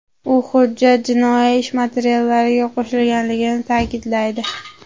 U hujjat jinoiy ish materiallariga qo‘shilganligini ta’kidlaydi.